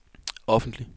offentlig